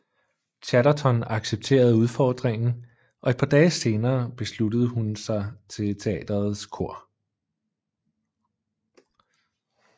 Chatterton accepterede udfordringen og et par dage senere sluttede hun sig til teaterets kor